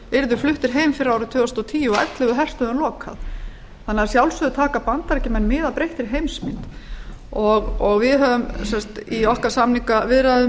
yrðu fluttir heim fyrir árið tvö þúsund og tíu og ellefu herstöðvum lokað þannig að að sjálfsögðu taka bandaríkjamenn mið af breyttri heimsmynd við höfum í okkar samningaviðræðum